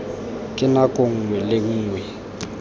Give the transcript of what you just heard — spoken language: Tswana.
ka nako nngwe le nngwe